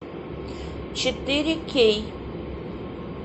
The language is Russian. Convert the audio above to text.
четыре кей